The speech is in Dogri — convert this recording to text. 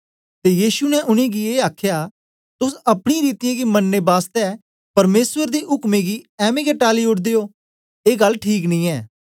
ते यीशु ने उनेंगी ए आखया तोस अपनी रीतियें गी मनने बासतै परमेसर दे उक्में गी ऐंमें गै टाली ओड़दे ओ ऐ गल ठीक नी ए